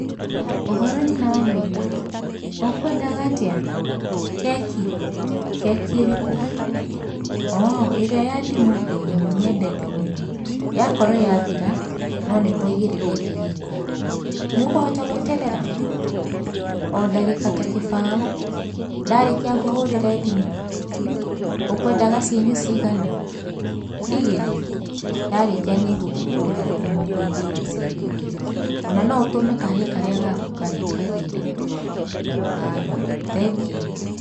Ũhoro nyina wa Maina, ũkwendaga atĩa? Keki? keki ĩrĩkũ? ooh ĩrĩa ya ndimũ ĩĩ nĩ ũmiendete mũno. Yakorwo yathira no nĩtwaigĩrĩra ĩngĩ riko. Nĩũkũhota gweterera? O ndagĩka ta kĩbaũ. Ndarĩkia ngũhũrĩre thimũ? Ũkwendaga cienyũ cigana? Igĩrĩ? Ndarĩkia nĩ ngũkũhũrĩra thimũ ngũigĩire cienyũ igĩrĩ ona no ũtũme kahĩi karĩa gaku kagire, haya, thengiũ.